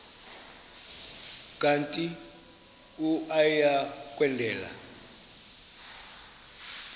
kanti uia kwendela